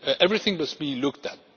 Everything must be looked at.